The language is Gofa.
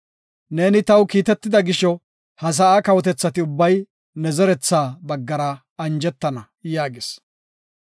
Neeni taw kiitetida gisho, ha sa7a kawotethati ubbay ne zeretha baggara anjetana” yaagis.